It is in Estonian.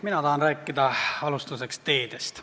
Mina tahan alustuseks rääkida teedest.